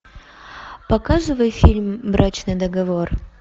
показывай фильм брачный договор